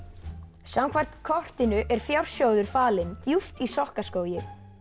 samkvæmt kortinu er fjársjóður falinn djúpt í Sokkaskógi